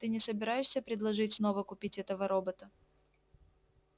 ты не собираешься предложить снова купить этого робота